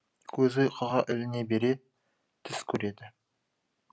көзі ұйқыға іліне бере түс көреді